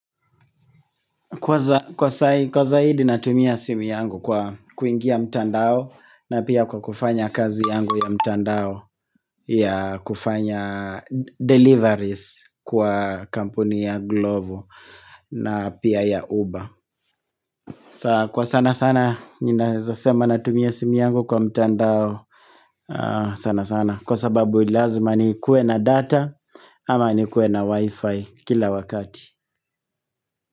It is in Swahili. Kwa zaidi natumia simu yangu kwa kuingia mtandao na pia kwa kufanya kazi yangu ya mtandao ya kufanya deliveries kwa kampuni ya Glovo na pia ya Uber Kwa sanasana ninaeza sema natumia simu yangu kwa mtandao sanasana Kwa sababu lazima nikuwe na data ama nikuwe na wifi kila wakati.